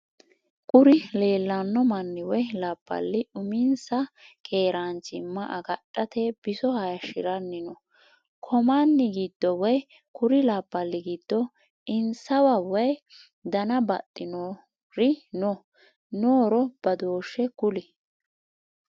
Kuri leellanno manni woy labballi uminsa keeranchima agadhate biso hayishiranni no. ko manni gidono woy kur labbali giddo insaw woy dana baxinor no? nooro badooshshe kuli?